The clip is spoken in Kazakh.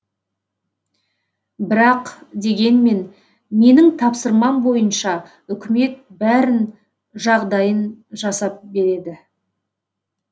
бірақ дегенмен менің тапсырмам бойынша үкімет бәрін жағдайын жасап береді